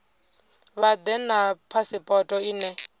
vha ḓe na phasipoto ine